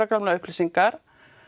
gamlar upplýsingar